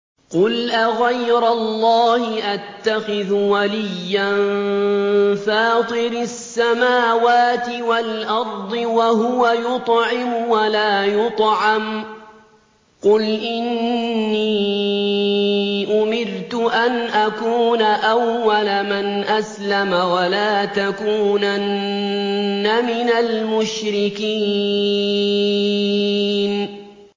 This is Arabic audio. قُلْ أَغَيْرَ اللَّهِ أَتَّخِذُ وَلِيًّا فَاطِرِ السَّمَاوَاتِ وَالْأَرْضِ وَهُوَ يُطْعِمُ وَلَا يُطْعَمُ ۗ قُلْ إِنِّي أُمِرْتُ أَنْ أَكُونَ أَوَّلَ مَنْ أَسْلَمَ ۖ وَلَا تَكُونَنَّ مِنَ الْمُشْرِكِينَ